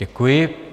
Děkuji.